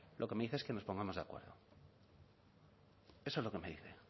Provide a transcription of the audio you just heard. lo que me dice es que nos pongamos de acuerdo eso es lo que me dice